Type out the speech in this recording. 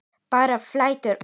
Bara flæddu út.